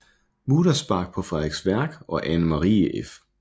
Muderspach på Frederiksværk og Ane Marie f